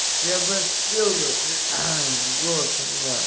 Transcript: я бы спели бы голоса нет